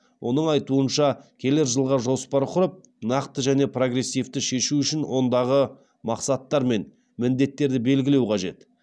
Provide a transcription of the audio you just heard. оның айтуынша келер жылға жоспар құрып нақты және прогрессивті шешу үшін ондағы мақсаттар мен міндеттерді белгілеу қажет